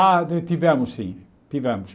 Ah, ti tivemos sim, tivemos.